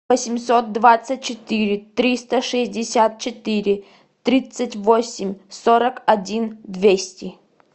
восемьсот двадцать четыре триста шестьдесят четыре тридцать восемь сорок один двести